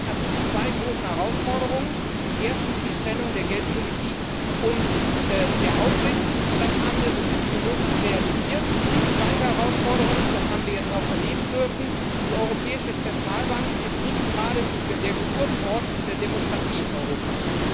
Das bringt natürlich zwei große Herausforderungen erstens die Trennung der Geldpolitik und der Aufsicht das haben wir, so gut wie möglich, realisiert und die zweite Herausforderung ist, das haben wir jetzt auch erleben dürfen Die Europäische Zentralbank ist nicht gerade der Geburtsort der Demokratie in Europa.